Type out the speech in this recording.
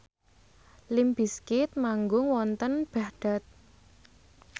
limp bizkit manggung wonten Baghdad